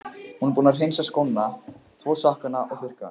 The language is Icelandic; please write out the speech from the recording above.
Hún var búin að hreinsa skóna, þvo sokkana og þurrka.